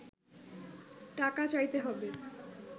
টাকা চাইতে হবে